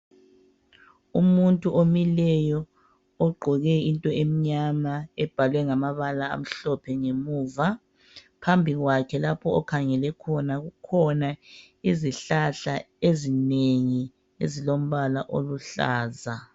Umuntu omileyo ogqoke into emnyama ebhalwe ngamabala amhlophe ngemuva. Phambi kwakhe lapha akhangele khona kukhona izihlahla ezinengi ezilombala oluhlaza.